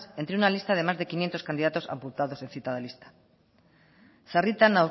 entre una lista de más de quinientos candidatos apuntados en citada lista sarritan